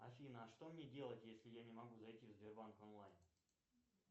афина а что мне делать если я не могу зайти в сбербанк онлайн